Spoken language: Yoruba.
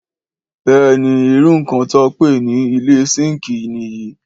Béèni iru nkan to pe ni ile sinki nìyí